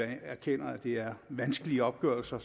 jeg erkender at det er vanskelige opgørelser